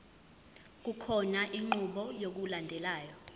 kukhona inqubo yokulandelayo